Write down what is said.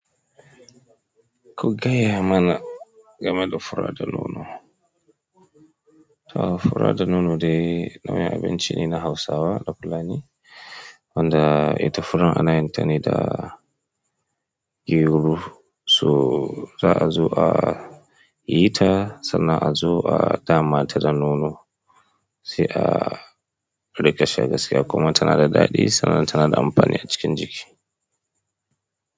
Ku gayamana game da fura da nono. Furadanono dai nau'in abinci ne na Hausawa da Fulani wanda ita furar anayin tane da gyero. So za azo ayita sannan azo a damata da nono, sai a riƙa sha gaskiya kuma tanada daɗi sannan tanada amfani acikin jiki.